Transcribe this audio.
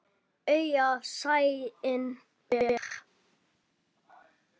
Augað sæinn ber.